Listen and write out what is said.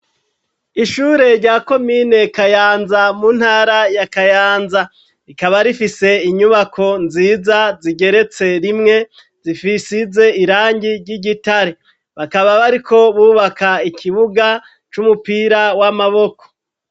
Ishure rya komine kayanza, mu ntara ya kayanza, rikaba rifise inyubako nziza zigeretse rimwe, zisize irangi ry'igitare ,bakaba bariko bubaka ikibuga c'umupira w'amaboko.